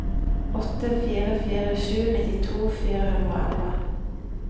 åtte fire fire sju nittito fire hundre og elleve